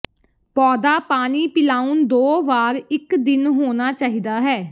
ਪੌਦਾ ਪਾਣੀ ਪਿਲਾਉਣ ਦੋ ਵਾਰ ਇੱਕ ਦਿਨ ਹੋਣਾ ਚਾਹੀਦਾ ਹੈ